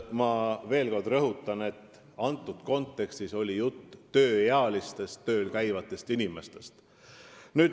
Ma veel kord rõhutan, et antud kontekstis oli jutt tööealistest tööl käivatest inimestest.